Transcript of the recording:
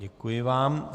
Děkuji vám.